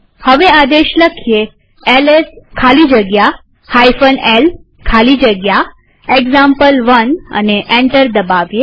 હવે આદેશ એલએસ ખાલી જગ્યા l ખાલી જગ્યા એક્ઝામ્પલ1 લખીએ અને એન્ટર દબાવીએ